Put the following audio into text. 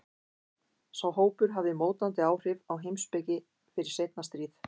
Sá hópur hafði mótandi áhrif á heimspeki fyrir seinna stríð.